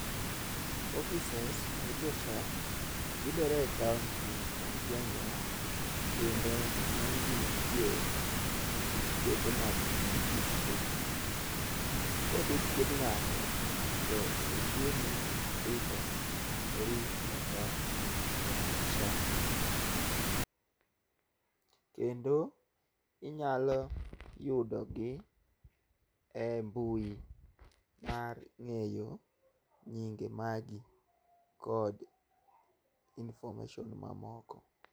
Offices mag jo SHA yudore e kaonti mag gwengewa kendo ng'enygi nitie osiptende mag distrik. Kodhi thiedh ng'ato to oyieni ndikori kaka ja SHA. Kendo inyalo yudogi e mbui mar ng'eyo nyinge magi kod information mamoko.